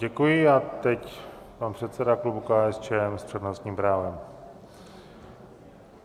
Děkuji a teď pan předseda klubu KSČM s přednostním právem.